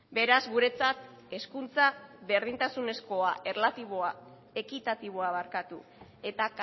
beraz guretzat berdintasunezko ekitatiboa eta